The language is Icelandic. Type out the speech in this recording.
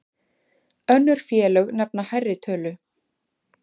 Önnur félög nefna hærri tölu.